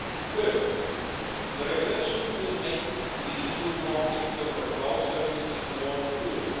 Thirdly, the regulation will make the EU market for cloud services more fluid.